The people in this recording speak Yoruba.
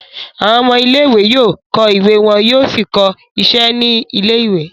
Àwọn ọmọ ilé-ìwé yóò kọ́ ìwé wọn yóò sì kọ iṣẹ́ ní ilé-ìwé.